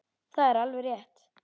Það er alveg rétt.